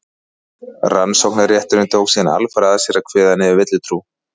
rannsóknarrétturinn tók síðan alfarið að sér að kveða niður villutrú